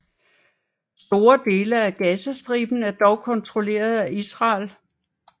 Store dele af Gazastriben er dog kontrolleret af Israel